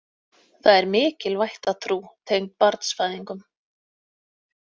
Það er mikil vættatrú tengd barnsfæðingum.